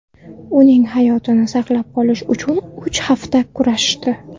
Uning hayotini saqlab qolish uchun uch hafta kurashishdi.